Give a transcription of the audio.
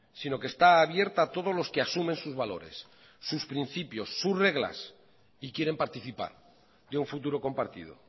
sino que está abierta a todos los que asumen sus valores sus principios sus reglas y quieren participar de un futuro compartido